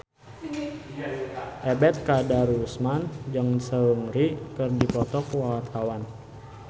Ebet Kadarusman jeung Seungri keur dipoto ku wartawan